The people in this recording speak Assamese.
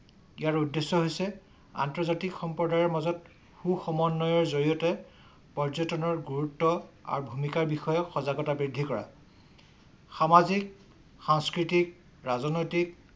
ইয়াৰ উদ্দেশ্য হৈছে আন্তৰ্জাতিক সম্প্ৰদায়ৰ মাজত সু সম্বনয়ৰ জৰিয়তে পৰ্যটনৰ গুৰুত্ব আৰু ভূমিকাৰ বিষয়ে সজাগতা বৃদ্ধি কৰা। সামাজিক সাংস্কৃতিক ৰাজনৈতিক